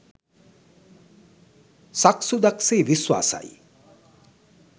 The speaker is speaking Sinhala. සක්සුදක් සේ විශ්වාසයි.